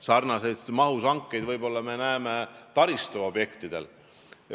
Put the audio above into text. Sarnases mahus hankeid me näeme võib-olla ainult taristuobjektide puhul.